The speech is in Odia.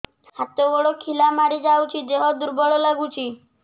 ହାତ ଗୋଡ ଖିଲା ମାରିଯାଉଛି ଦେହ ଦୁର୍ବଳ ଲାଗୁଚି